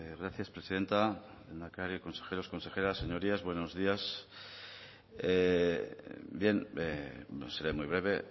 gracias presidenta lehendakari consejeros consejeras señorías buenos días bien seré muy breve